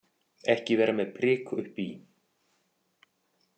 Ekki vera með prik uppi í.